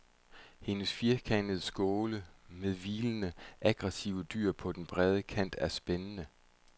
Hendes firkantede skåle med hvilende, aggresive dyr på den brede kant er spændende.